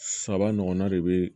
Saba ɲɔgɔnna de bɛ